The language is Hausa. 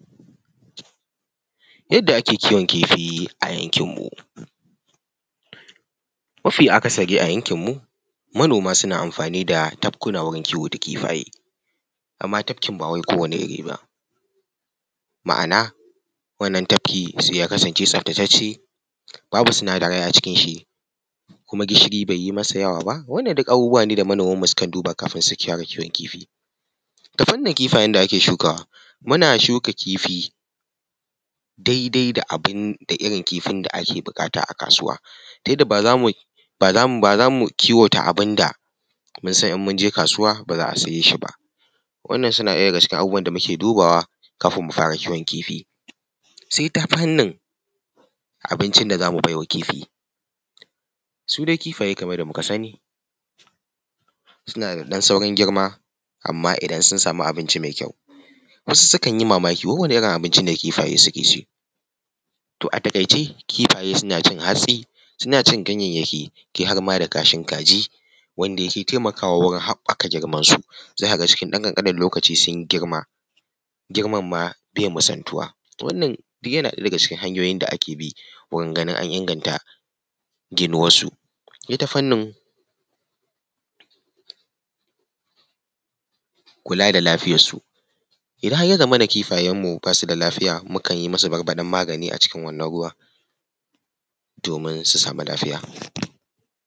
Yadda ake kiwon kifi a yankin mu. Mafi akasari a yankin mu, manoma suna amfani da tafkuna wurin kiwo da kifaye, amma tafkin ba wai kowane iri ba ma’ana wannan tafki sai ya kasance tsaftatacce babu sinadarai acikin shi kuma gishiri bai yi masa yawa ba wannan duk abubuwa ne da manoman mu sukan duba kafin su fara kiwon kifi. Ta fannin kifayen da ake shukawa; muna shuka kifi daidai da abin da irin kifin da ake buƙata a kasuwa, ta yadda ba zamu kiwata abin da mun san idan mun je kasuwa ba za a siye shi ba. Wannan suna ɗaya daga cikin abubuwan da muke dubawa kafin mu fara kiwon kifi. Sai ta fannin abincin da zamu baiwa kifi; su dai kifaye kamar yadda muka sani suna da ɗan saurin girma amma idan sun sami abinci mai kyau. Wasu sukan yi mamaki wai wane irin abinci ne kifaye suke ci, toh a taƙaice kifaye suna cin hatsi, suna cin ganyayyaki, kai har ma da kashin kaji wanda yake taimakawa wurinn haɓaka girman su, za ka ga cikin ɗan ƙanƙanen lokaci sun yi girma, girman ma bai misaltuwa, toh wannan yana ɗaya daga cikin hanyoyin da ake bi wurin ganin an inganta ginuwar su. Ita fannin kula da lafiyar su; idan har ya zamana kifayen mu basu da lafiya mu kan yi masu barbaɗen magani a cikin wannan ruwan domin su samu lafiya.